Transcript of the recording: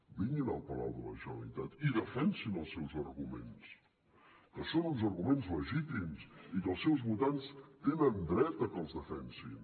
vinguin al palau de la generalitat i defensin els seus arguments que són uns arguments legítims i que els seus votants tenen dret a que els defensin